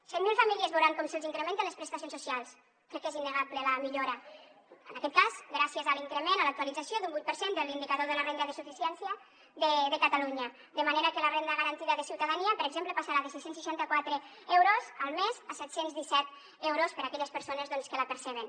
cent mil famílies veuran com se’ls incrementen les prestacions socials crec que és innegable la millora en aquest cas gràcies a l’increment a l’actualització d’un vuit per cent de l’indicador de la renda de suficiència de catalunya de manera que la renda garantida de ciutadania per exemple passarà de sis cents i seixanta quatre euros al mes a set cents i disset euros per a aquelles persones que la perceben